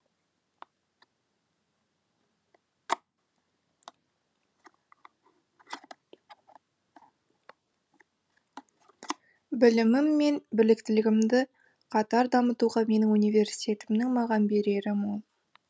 білімім мен біліктілігімді қатар дамытуға менің университетімнің маған берері мол